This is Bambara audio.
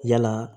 Yala